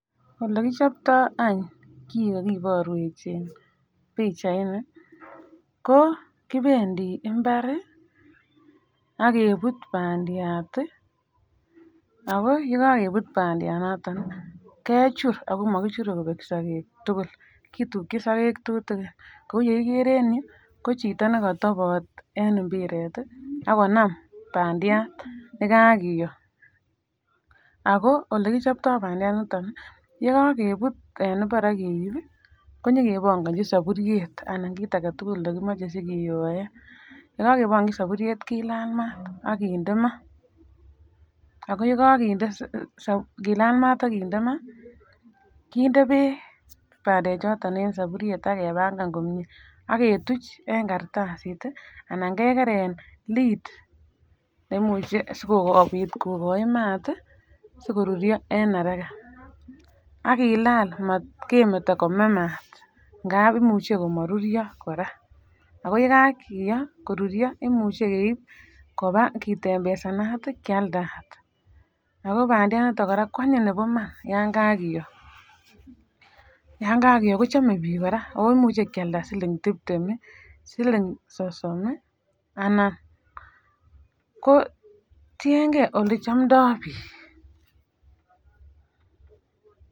Ole kichoptoo any kii kokiborwech en pichaini ko kopendii imbari ak kebut pandiat tii ako yekokebut pandiat noton kechur ako mokichure Kobe sokek tukul kitukin sokek tutukin kou yekikere en yuu ko chito nekotobot en impiret tii ak konam pandiat nekakiyo. Ako olekichoptoo pandiat ndoniton nii yekokeput en imbar ak keibi kenyo kebongochi soburyet anan kit agetukul nekimoche sikiyoen, yekokebongichi soburyet kilal mat ak kinde maa. Ako yeko kinde sob kilal mat ak kinde maa kinde beek pandek choton en soburyet ak kepangan komie ak ketuch en kartasit tii anan kekeren lid neimuche sikopit kokoi mat tii sikoruryo en haraka. AK kilal motkemeto kome mat ngap imuche komoruryo Koraa, ako yekakiyo koruryo kot imuche keib koba kitempesanat tii kialdat. Ako pandiat ndoniton Koraa kwanyiny nebo iman yon kakiyo, yon kakiyo kochome bik Koraa ako imuche Kialda siling tiptem nii siling sosom in anan ko tiyengee ole chomdo bik.